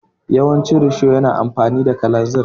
Yawancin risho yana amfani da kalanzir.